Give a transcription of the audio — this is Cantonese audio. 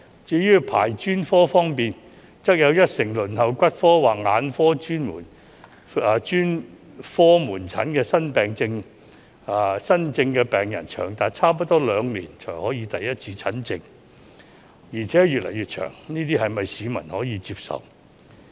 至於專科的輪候時間，則有一成輪候骨科或眼科專科門診的新症病人，要輪候長達差不多兩年才可獲得第一次診症，而且時間越來越長，這是否市民可以接受的呢？